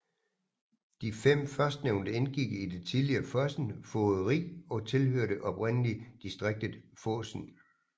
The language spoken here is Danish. De fem førstnævnte indgik i det tidligere Fosen fogderi og tilhørte oprindelig distriktet Fosen